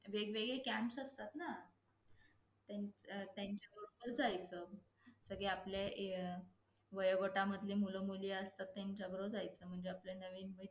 पण ती माणसे आपणच असं विचार करतो की तो माणूस स्वार्थी आहेत आपल्याला माहित नसत की त्याच्यावर त्यांच्यावर काय परिस्थिती येणारी असेल.